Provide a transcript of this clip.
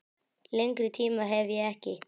Lengri tíma hef ég ekki.